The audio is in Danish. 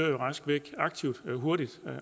er det